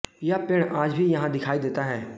यह पेड आज भी यहां दिखाई देता है